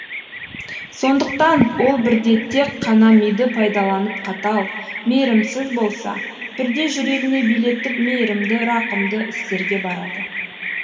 сондықтан ол бірде тек қана миды пайдаланып қатал мейірімсіз болса бірде жүрегіне билетіп мейрімді рақымды істерге барады